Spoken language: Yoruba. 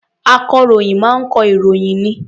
Akọ̀ròyìn máa ń kọ ìròyìn ni.